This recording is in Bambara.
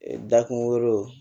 Da kungolo